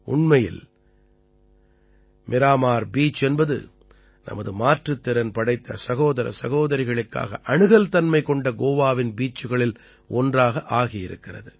உண்மையில் மீராமார் பீச் என்பது நமது மாற்றுத் திறன் படைத்த சகோதர சகோதரிகளுக்காக அணுகல்தன்மை கொண்ட கோவாவின் பீச்சுகளில் ஒன்றாக ஆகியிருக்கிறது